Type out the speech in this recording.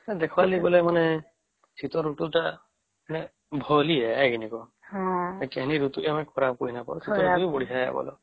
ଦେଖିବାର ଲାଇ ବୋଲେ ଶୀତ ଋତୁ ଟା ଭଲ ହିଁ ହେ ନାଇଁ କି କହ କେନି ଋତୁ କୁ ଖରାପ କହି ନାଇଁ ପରିମା